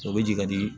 O bɛ jigin ka di